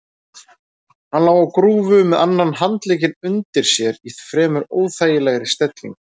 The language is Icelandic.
Hann lá á grúfu með annan handlegginn undir sér í fremur óþægilegri stellingu.